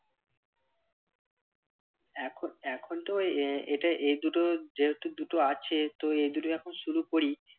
এখন এখন তো এ এতে এই দুটো যেহেতু দুটো আছে তো এই দুটোই এখন শুরু করি